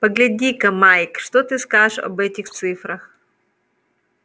погляди-ка майк что ты скажешь об этих цифрах